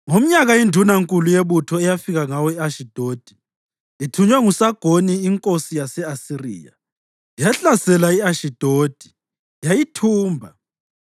Ngomnyaka indunankulu yebutho eyafika ngawo e-Ashidodi, ithunywe nguSagoni inkosi yase-Asiriya, yahlasela i-Ashidodi yayithumba,